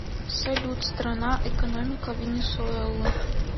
салют страна экономика венесуэлы